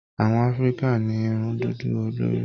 Àwọn áfíríkà ní irun dúdú lórí.